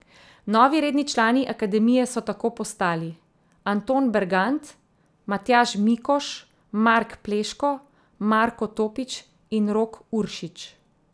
Novi redni člani akademije so tako postali Anton Bergant, Matjaž Mikoš, Mark Pleško, Marko Topič in Rok Uršič.